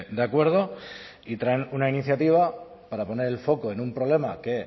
de acuerdo y traen una iniciativa para poner el foco en un problema que